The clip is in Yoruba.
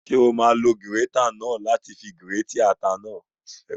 Ṣé o máa lo gírétà náà láti fi gírètì ata náà?